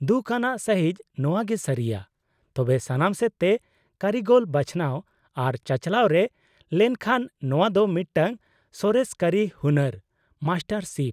ᱫᱩᱠᱷ ᱟᱱᱟᱜ ᱥᱟᱹᱦᱤᱡ ᱱᱚᱶᱟ ᱜᱮ ᱥᱟᱹᱨᱤᱭᱟ, ᱛᱚᱵᱮ ᱥᱟᱱᱟᱢ ᱥᱮᱫ ᱛᱮ ᱠᱟᱹᱨᱤᱜᱚᱞ ᱵᱟᱪᱷᱱᱟᱣ ᱟᱨ ᱪᱟᱪᱟᱞᱟᱣ ᱨᱮ ᱞᱮᱱᱠᱷᱟᱱ, ᱱᱚᱶᱟ ᱫᱚ ᱢᱤᱫᱴᱟᱝ ᱥᱚᱨᱮᱥ ᱠᱟᱹᱨᱤ ᱦᱩᱱᱟᱹᱨ (ᱢᱟᱥᱴᱟᱨ ᱥᱤᱯ) ᱾